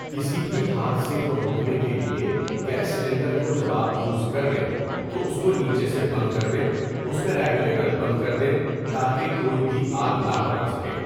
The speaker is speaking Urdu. کسی بھی حادثے کو روکنے کے لئے گیس سیلنڈر کو جب آپ یوز کرلیں تو اُس کو نیچے سے بند کردیں اُس کا ریگولیٹر بند کردیں تاکہ کوئی بھی آگ نہ پکڑ سکے.